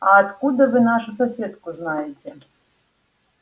а откуда вы нашу соседку знаете